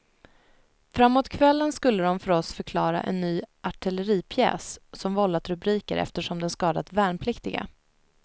Framåt kvällen skulle de för oss förklara en ny artilleripjäs som vållat rubriker eftersom den skadat värnpliktiga.